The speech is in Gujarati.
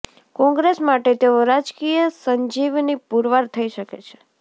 કોંગ્રેસ માટે તેઓ રાજકીય સંજીવની પુરવાર થઈ શકે છે